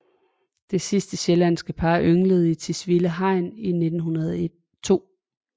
Det sidste sjællandske par ynglede i Tisvilde Hegn i 1902